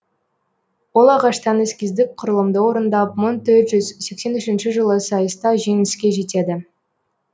ол ағаштан эскиздік құрылымды орындап мың төрт жүз сексен үшінші жылы сайыста жеңіске жетеді